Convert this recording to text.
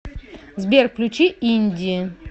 сбер включи инди